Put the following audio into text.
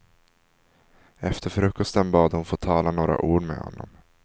Efter frukosten bad hon att få tala några ord med honom.